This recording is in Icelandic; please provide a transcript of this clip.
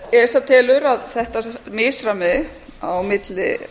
esa telur að þetta misræmi á milli